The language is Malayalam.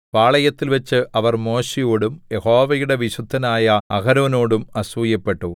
പാളയത്തിൽവച്ച് അവർ മോശെയോടും യഹോവയുടെ വിശുദ്ധനായ അഹരോനോടും അസൂയപ്പെട്ടു